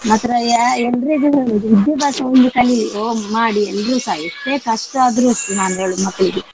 ಮಾತ್ರ ಯ~ ಎಲ್ಲರಿಗೂ ಹೇಳುದು ವಿದ್ಯಾಭ್ಯಾಸ ಒಂದು ಕಲಿ ಹೊಗ್~ ಮಾಡಿ ಎಲ್ರುಸ ಎಷ್ಟೇ ಕಷ್ಟದ್ರು ನಾನ್ ಹೇಳುದು ಮಕ್ಕಳಿಗೆ.